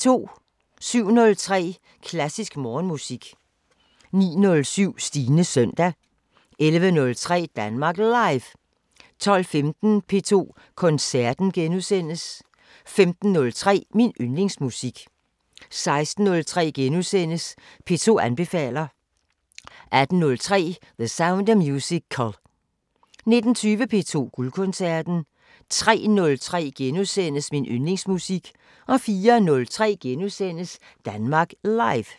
07:03: Klassisk Morgenmusik 09:07: Stines søndag 11:03: Danmark Live 12:15: P2 Koncerten * 15:03: Min Yndlingsmusik 16:03: P2 anbefaler * 18:03: The Sound of Musical 19:20: P2 Guldkoncerten 03:03: Min Yndlingsmusik * 04:03: Danmark Live *